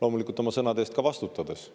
loomulikult oma sõnade eest ka vastutades.